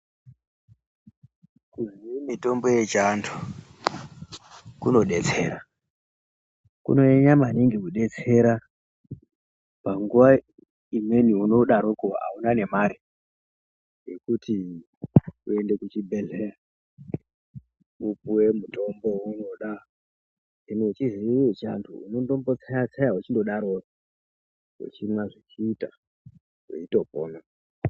Kuziye mitombo yechiantu kunobetsera. Kunonyanya maningi kubetsera panguva imweni unodaroko hauna nemare yekuti uende kuchibhedhlera vopuve mutombo veunoda. Kana uchiziye vechiantu unombotseya-tseya uchimbodarovo uchimwa zvichiita veitopona.